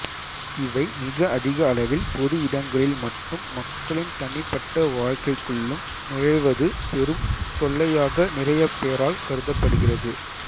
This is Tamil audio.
இவை மிக அதிக அளவில் பொது இடங்களில் மட்டும் மக்களின் தனிப்பட்ட வாழ்க்கைக்குள்ளும் நுழைவது பெரும் தொல்லையாக நிறையப்பேரால் கருதப்படுகிறது